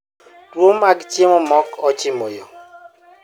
Tuwo mag chiemo mok ochimo yo